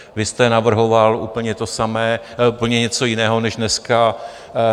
Vy jste navrhoval úplně to samé, úplně něco jiného než dneska.